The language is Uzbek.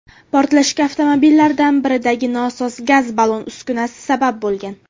Portlashga avtomobillardan biridagi nosoz gaz ballon uskunasi sabab bo‘lgan.